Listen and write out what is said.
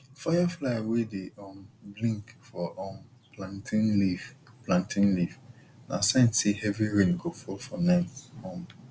firefly wey dey um blink for um plantain leaf plantain leaf na sign say heavy rain go fall for night um